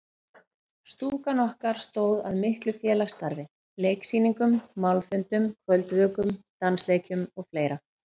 Stúkan okkar stóð að miklu félagsstarfi: Leiksýningum, málfundum, kvöldvökum, dansleikjum og fleira.